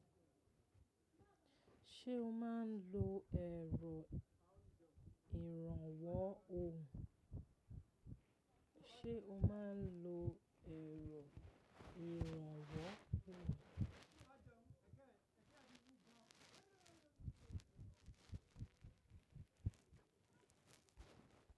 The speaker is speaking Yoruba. Ṣé o máa ń lo ẹ̀rọ ìrànwọ́ ohùn?